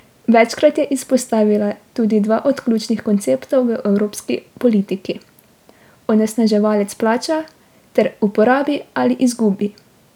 Večkrat je izpostavila tudi dva od ključnih konceptov v evropski politiki: "onesnaževalec plača" ter "uporabi ali izgubi".